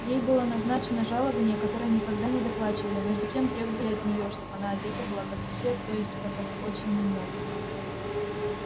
ей было назначено жалованье которое никогда не доплачивали а между тем требовали от неё чтоб она одета была как и все то есть как очень немногие